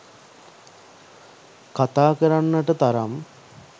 කතා කරන්නට තරම්